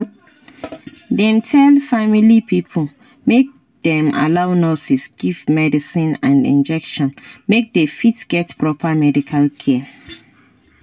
dem tell family pipo make dem allow nurses give medicine and injection make dey fit get proper medical care